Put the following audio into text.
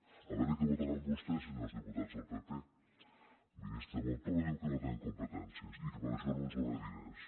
a veure què votaran vostès senyors diputats del pp el ministre montoro diu que no tenen competències i que per això no ens dóna diners